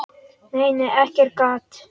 Nei, nei, ekkert gat!